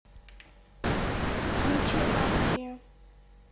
включи асия